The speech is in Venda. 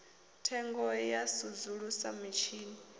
thengo ya u sudzulusa mitshini